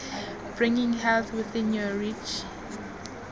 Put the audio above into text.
bringing health within your reach